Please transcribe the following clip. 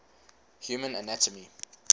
human anatomy